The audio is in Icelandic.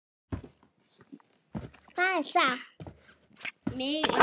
Þetta er satt.